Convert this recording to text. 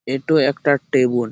এতো একটা টেবিল ।